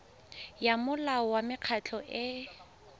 ya molao wa mekgatlho e